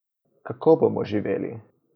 Kako bomo živeli?